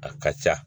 A ka ca